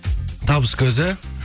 табыс көзі